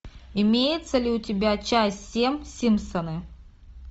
имеется ли у тебя часть семь симпсоны